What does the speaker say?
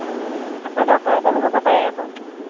আকৌ doctor এজনো হ’ব পাৰে আকৌ।